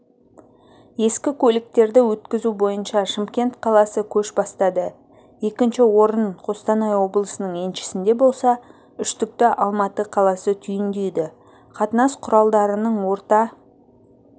ескі көліктерді өткізу бойынша шымкент қаласы көш бастады екінші орын қостанай облысының еншісінде болса үштікті алматы қаласы түйіндейді қатынас құралдарының орта